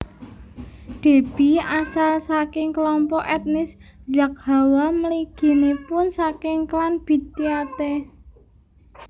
Déby asalsaking kelompok etnis Zaghawa mliginipun saking klan Bidyate